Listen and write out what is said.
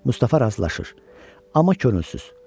Mustafa razılaşır, amma könülsüz.